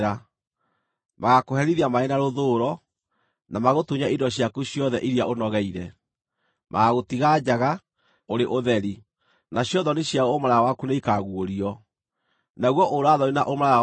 Magaakũherithia marĩ na rũthũũro, na magũtunye indo ciaku ciothe iria ũnogeire. Magaagũtiga njaga, ũrĩ ũtheri, nacio thoni cia ũmaraya waku nĩikaguũrio. Naguo ũũra-thoni na ũmaraya waku.